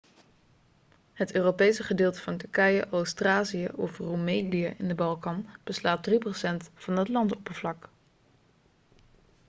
het europese gedeelte van turkije oost-thracië of roemelië in de balkan beslaat 3% van het landoppervlak